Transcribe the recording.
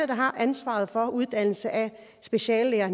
der har ansvaret for uddannelse af speciallæger